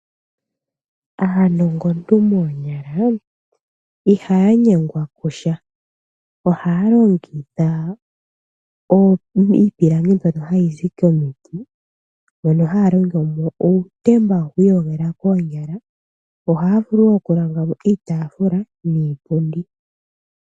Aanongontu moonyala ihaya nyengwa kusha. Ohaya longitha iipilangi ndyono hayi zi komiti mono haya longomo uutemba wokwiiyogela koonyala. Ohaya vulu okulonga mo iitaafula niipundi.